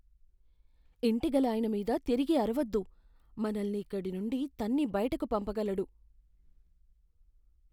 ఇంటిగలాయన మీద తిరిగి అరవద్దు.మనల్ని ఇక్కడి నుండి తన్ని బయటికి పంపగలడు.